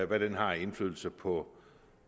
hvad den har af indflydelse på